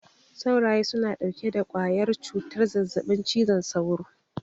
Sauraye suna ɗauke da ƙwayar cutar zazzaɓin cizon sauro.